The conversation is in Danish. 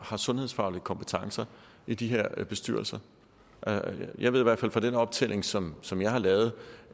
har sundhedsfaglige kompetencer i de her bestyrelser jeg ved i hvert fald fra den optælling som som jeg har lavet